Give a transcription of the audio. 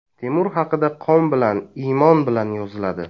Temur haqida qon bilan, iymon bilan yoziladi.